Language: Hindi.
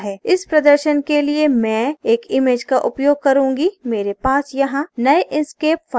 इस प्रदर्शन के लिए मैं एक image का उपयोग करूँगी मेरे पास यहाँ नये inkscape फाइल में एक image है